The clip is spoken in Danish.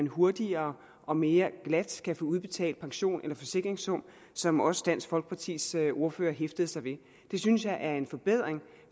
hurtigere og mere glat kan få udbetalt pension eller forsikringssum som også dansk folkepartis ordfører hæftede sig ved det synes jeg er en forbedring